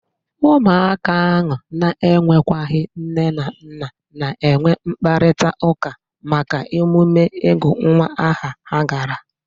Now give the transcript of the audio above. Ụmụaka ahụ na-enwekwaghi nne na nna na-enwe mkparitaụka maka emume ịgụ nwa aha ha gara.